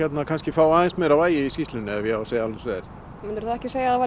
fá aðeins meira vægi í skýrslunni ef ég á að segja alveg eins og er myndirðu þá ekki segja að það